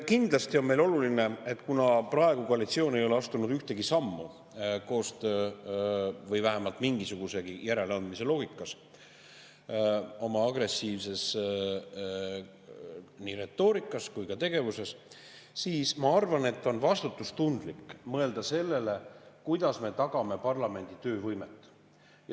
Kuna koalitsioon ei ole astunud ühtegi sammu koostöö või vähemalt mingisugusegi järeleandmise loogikas oma agressiivses nii retoorikas kui ka tegevuses, siis ma arvan, et on vastutustundlik mõelda sellele, kuidas me tagame parlamendi töövõimet.